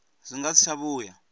zwi nga si tsha vhuya